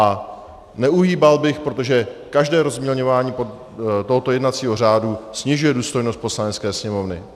A neuhýbal bych, protože každé rozmělňování tohoto jednacího řádu snižuje důstojnost Poslanecké sněmovny.